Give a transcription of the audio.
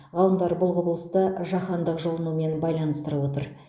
ғалымдар бұл құбылысты жаһандық жылынумен байланыстырып отыр